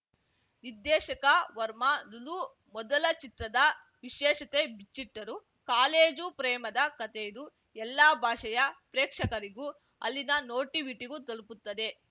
ನಿರ್ದೇಶಕ ವರ್ಮಾ ಲುಲು ಮೊದಲ ಚಿತ್ರದ ವಿಶೇಷತೆ ಬಿಚ್ಚಿಟ್ಟರು ಕಾಲೇಜು ಪ್ರೇಮದ ಕತೆಯಿದು ಎಲ್ಲಾ ಭಾಷೆಯ ಪ್ರೇಕ್ಷಕರಿಗೂ ಅಲ್ಲಿನ ನೋಟಿವಿಟಿಗೂ ತಲುಪುತ್ತದೆ